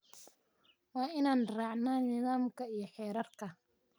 Waa inaan raacnaa nidaamka iyo xeerarka.